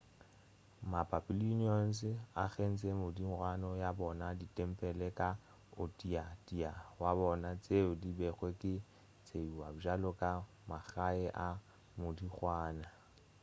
ma-babylonians a agetše modingwana ya bona ditempele ka o tee o tee wa bona tšeo di bego di tšeiwa bjalo ka magae a modingwana